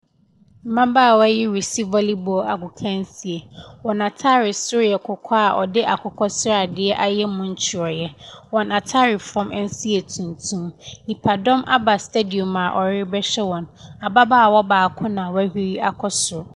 Mmabaawa yi resi voli bɔɔlo agokansie, wɔn ataade soso yɛ kɔkɔɔ a ɔde akokɔsradeɛ ayɛ mu ntwereɛ, wɔn ataade fɔm nso yɛ tuntum. Nnipa dɔm aba stadiɔm a ɔrebɛhwɛ wɔn. Ababaawa baako na wahuri akɔ soro.